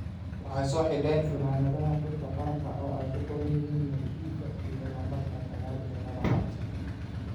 Waxay soo xidheen funaanadaha xulka qaranka oo uu ku qoran yahay magaciisa iyo lambarka sagaal iyo tobnaad-aad.